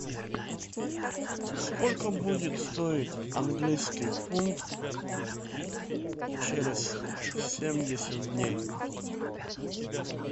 сколько будет стоить английский фунт через семьдесят дней